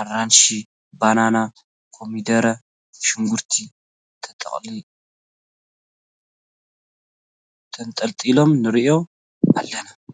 ኣራንሺ፣ በናና፣ ኮሚደረ፣ ሽጉርቲ ተንጠልጢሎም ንርኢ ኣለና።